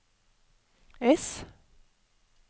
S